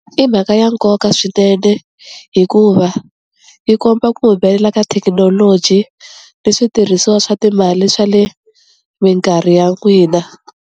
I mhaka ya nkoka swinene hikuva yi komba ku humelela ka thekinoloji ni switirhisiwa swa timali swa le minkarhi ya n'wina.